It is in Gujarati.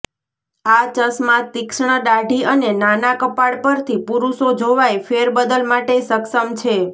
આ ચશ્મા તીક્ષ્ણ દાઢી અને નાના કપાળ પરથી પુરુષો જોવાઈ ફેરબદલ માટે સક્ષમ છે